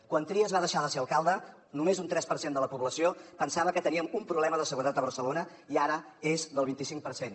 quan trias va deixar de ser alcalde només un tres per cent de la població pensava que teníem un problema de seguretat a barcelona i ara és del vint i cinc per cent